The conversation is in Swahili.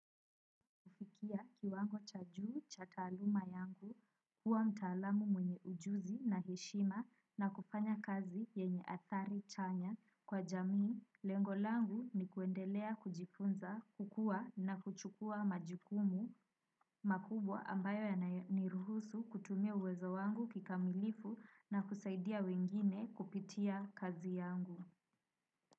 Kiwango cha juu cha taluma yangu, kuwa mtaalamu mwenye ujuzi na heshima na kufanya kazi yenye athari chanya kwa jamii, lengolangu ni kuendelea kujifunza, kukua na kuchukua majukumu makubwa ambayo yaniruhusu kutumia uwezo wangu kikamilifu na kusaidia wengine kupitia kazi yangu.